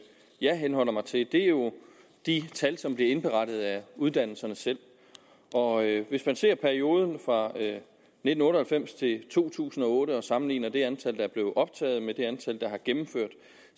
jeg henholder mig til jo de tal som bliver indberettet af uddannelserne selv og hvis man ser på perioden fra nitten otte og halvfems til to tusind og otte og sammenligner det antal der blev optaget med det antal der har gennemført